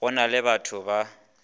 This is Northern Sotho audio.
go na le batho ba